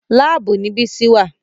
Láàbù ni Bísí wà